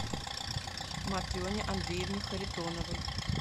матрене андреевне харитоновой